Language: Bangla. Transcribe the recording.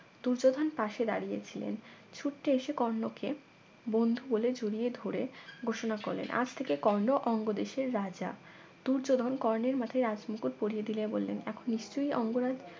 দুর্যোধন পাশে দাঁড়িয়ে ছিলেন ছুটে এসে কর্ণকে বন্ধু বলে জড়িয়ে ধরে ঘোষণা করলেন আজ থেকে কর্ণ অঙ্গ দেশের রাজা দূর্যোধন কর্ণের মাথায় রাজ মুকুট পরিয়ে দিয়ে বললেন এখন নিশ্চয়ই অঙ্গরাজ